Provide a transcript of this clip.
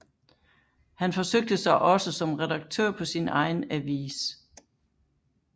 Han forsøgte sig også som redaktør på sin egen avis